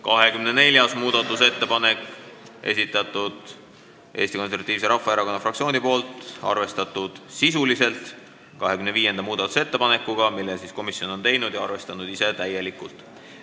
24. muudatusettepaneku on esitanud Eesti Konservatiivse Rahvaerakonna fraktsioon, arvestatud sisuliselt 25. muudatusettepanekuga, mille komisjon on ise teinud ja täielikult arvestanud.